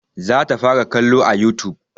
Za ta fara kallo a youtube